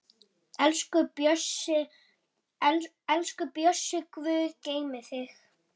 Elsku Bjössi, Guð geymi þig.